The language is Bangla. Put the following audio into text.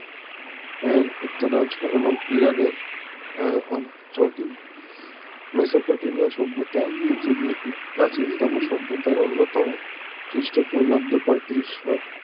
এর উত্তর অংশ এবং ইরান এর অঞ্চলটি মেসোপটেমিয়া সভ্যতা পৃথিবীর প্রাচীনতম সভ্যতার অন্যতম খ্রিস্ট পূর্বাব্দ পঁয়ত্রিশ শতক